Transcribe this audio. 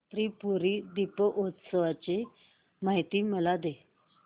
त्रिपुरी दीपोत्सवाची मला माहिती दे